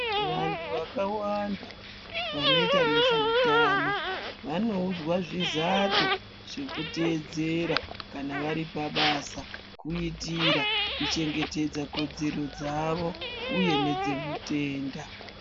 Vantu vakawanda vanoita nezveutano vanoudzwa zvizato zvekuteedzera kana vari pabasa kuitira kuchengetedza kodzero dzavo uye nedzemutenda.